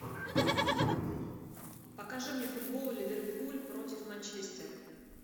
покажи мне футбол ливерпуль против манчестер